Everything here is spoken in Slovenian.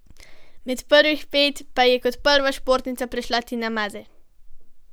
Med prvih pet pa je kot prva športnica prišla Tina Maze.